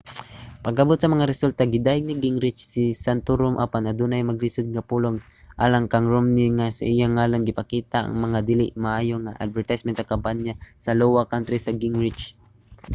pag-abot sa mga resulta gidayeg ni gingrich si santorum apan adunay malisud nga mga pulong alang kang romney nga sa iyang ngalan gipakita ang mga dili maayo nga mga advertisement sa kampanya sa iowa kontra sa gingrich